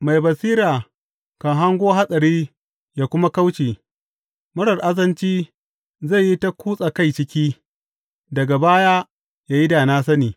Mai basira kan hango hatsari ya kuma kauce, marar azanci zai yi ta kutsa kai ciki, daga baya ya yi da na sani.